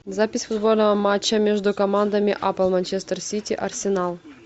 запись футбольного матча между командами апл манчестер сити арсенал